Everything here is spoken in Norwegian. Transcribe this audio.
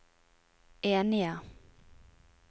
enige